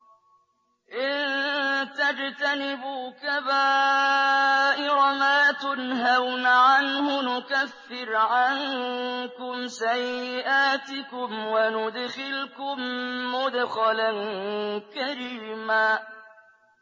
إِن تَجْتَنِبُوا كَبَائِرَ مَا تُنْهَوْنَ عَنْهُ نُكَفِّرْ عَنكُمْ سَيِّئَاتِكُمْ وَنُدْخِلْكُم مُّدْخَلًا كَرِيمًا